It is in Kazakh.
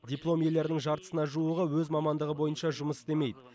диплом иелерінің жартысына жуығы өз мамандығы бойынша жұмыс істемейді